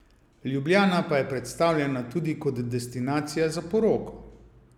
Ljubljana pa je predstavljena tudi kot destinacija za poroko.